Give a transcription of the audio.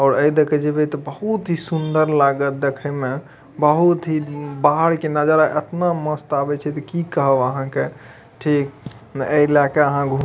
और अय देखे जैबे त बहुत ही सूंदर लागत देखे में बहुत ही बाहर के नजारा इतना मस्त आवे छै त की कहे वहां के ठीक ऐलके अहाँ घूं --